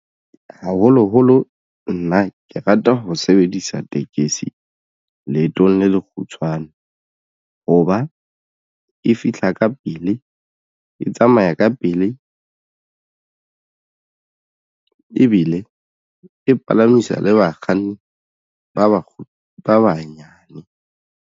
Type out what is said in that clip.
Haholoholo nna ke rata ho sebedisa tekesi leetong le le kgutshwane hoba e fihla ka pele e tsamaya ka pele ebile e palamisa le bakganni ba ba banyane.